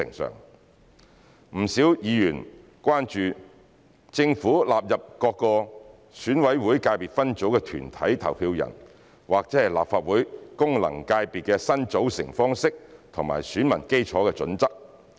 不少議員關注政府納入各個選委會界別分組的團體投票人或立法會功能界別的新組成方式及選民基礎的準則。